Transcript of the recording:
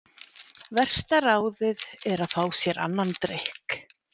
Versta ráðið er að fá sér annan drykk.